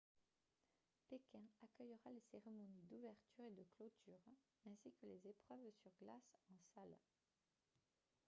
pékin accueillera les cérémonies d'ouverture et de clôture ainsi que les épreuves sur glace en salle